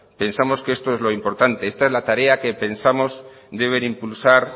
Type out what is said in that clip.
pensamos que esto es lo importante esta es la tarea que pensamos deben impulsar